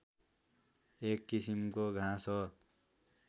एक किसिमको घाँस हो